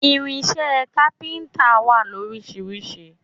Irinṣẹ́ kápíntà wà lóríṣiríṣi